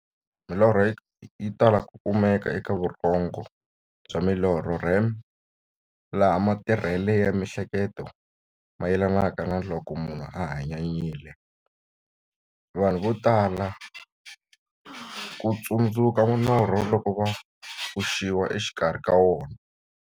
Milorho yi tala ku kumeka eka vurhongo bya milorho, REM, laha matirhele ya mi'hleketo mayelanaka na loko munhu a hanyanyile. Vanhu va tala ku tsundzuka norho loko va pfuxiwa exikarhi ka wona.